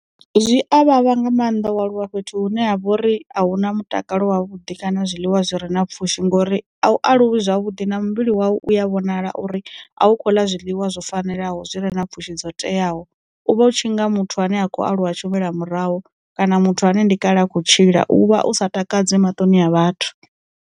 Zwi a vhavha nga maanḓa walwa fhethu hune ha vha uri a hu na mutakalo wavhuḓi kana zwiḽiwa zwi re na pfhushi ngori, a u aluwi zwavhuḓi na muvhili wau uya vhonala uri a u kho ḽa zwiḽiwa zwo fanelaho zwi re na pfhushi dzo teaho. u vha u tshi nga muthu ane a khou aluwa tshumela murahu kana muthu ane ndi kale a kho tshila uvha u sa takadzi matoni a vhathu.